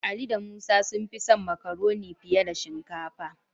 Ali da Musa sun fi son Makaronin fiye da shinkafa.